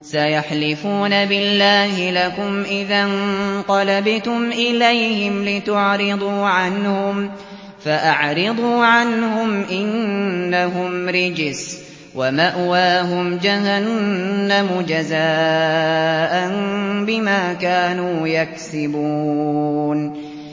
سَيَحْلِفُونَ بِاللَّهِ لَكُمْ إِذَا انقَلَبْتُمْ إِلَيْهِمْ لِتُعْرِضُوا عَنْهُمْ ۖ فَأَعْرِضُوا عَنْهُمْ ۖ إِنَّهُمْ رِجْسٌ ۖ وَمَأْوَاهُمْ جَهَنَّمُ جَزَاءً بِمَا كَانُوا يَكْسِبُونَ